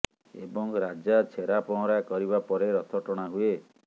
ଏବଂ ରାଜା ଛେରା ପହଁରା କରିବା ପରେ ରଥ ଟଣା ହୁଏ